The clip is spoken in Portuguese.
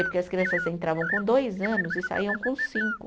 Porque as crianças entravam com dois anos e saíam com cinco.